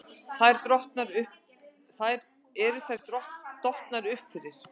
Eru þær dottnar upp fyrir?